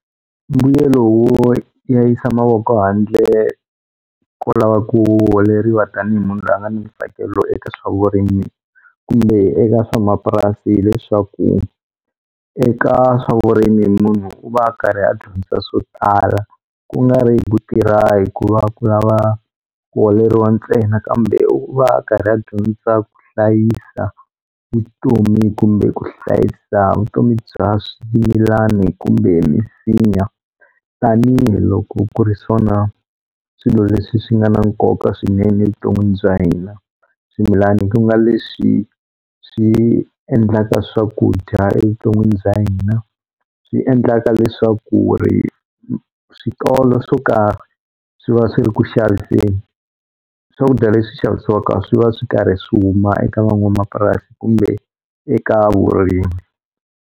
Mbuyelo wo ya yisa mavoko handle ko lava ku holeriwa tanihi munhu loyi a nga ni ntsakelo eka swa vurimi kumbe eka swa mapurasi hileswaku eka swa vurimi munhu u va a karhi a dyondza swo tala ku nga ri ku tirha hikuva ku lava ku holeriwa ntsena kambe u va a karhi a dyondza ku hlayisa vutomi kumbe ku hlayisa vutomi bya swimilani kumbe misinya tanihiloko ku ri swona swilo leswi swi nga na nkoka swinene evuton'wini bya hina swimilani ku nga leswi swi endlaka swakudya evuton'wini bya hina swi endlaka leswaku switolo swo karhi swi va swi ri kuxaviseni swakudya leswi xavisiwaka swi va swi karhi swi huma eka van'wamapurasi kumbe eka vurimi.